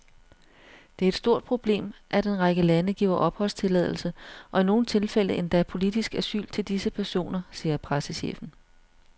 Det er et stort problem, at en række lande giver opholdstilladelse og i nogle tilfælde endda politisk asyl til disse personer, siger pressechefen.